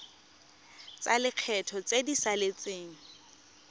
tsa lekgetho tse di saletseng